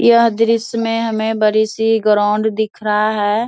यह दृश्य में हमे बड़ी सी ग्राउंड दिख रहा है।